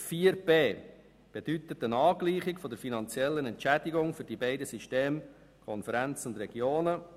Buchstabe b bedeutet eine Angleichung der finanziellen Entschädigung für die beiden Systeme Regionalkonferenz und Planungsregionen.